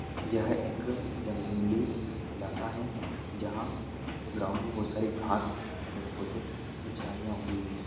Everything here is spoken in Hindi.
यह एक जंगली इलाका है जहां ग्राउंड में बहुत सारी घास पेड़- पौधे झाड़ियां उगी हुई हैं।